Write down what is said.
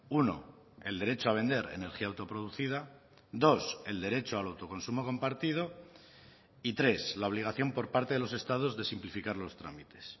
uno el derecho a vender energía autoproducida dos el derecho al autoconsumo compartido y tres la obligación por parte de los estados de simplificar los trámites